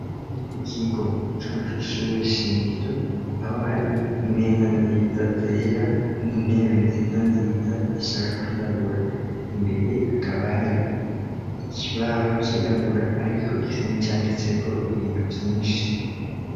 Ikigo co kw'ishuwe shingiro, aho hari meza nziza zera, n'intebe nziza nziza zishaka kwirabura imbere, hakaba hari ikibaho cirabura ariko gisa nkicanditse ko ibintu vyinshi.